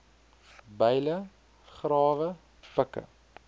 byle grawe pikke